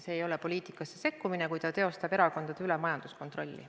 See ei ole poliitikasse sekkumine, kui ta teostab erakondade üle majanduskontrolli.